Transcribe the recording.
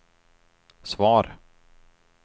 svar